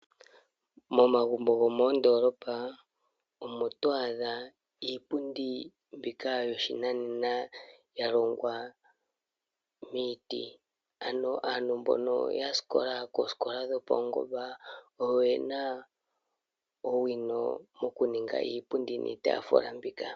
Momagumbo gomoondoolopa omo to adha iipundi mbika yoshinanena, ya longwa miiti. Ano aantu mbono ya sikola koosikola dhopaungomba oyo ye na owino mokuninga iipundi niitaafula mbika.